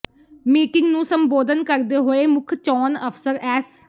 meeting ਨੂੰ ਸੰਬੋਧਨ ਕਰਦੇ ਹੋਏ ਮੁੱਖ ਚੌਣ ਅਫਸਰ ਐੱਸ